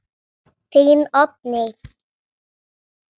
Þín, Oddný.